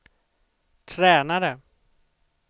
tränare